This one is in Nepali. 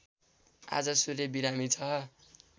आज सूर्य बिरामी छ